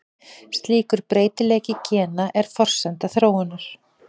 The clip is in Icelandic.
Slíkur breytileiki gena er forsenda þróunar.